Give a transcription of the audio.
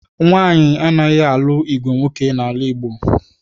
Nwaanyị anaghị alụ ìgwè nwoke n'ala Igbo